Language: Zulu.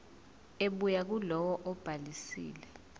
ebuya kulowo obhalisile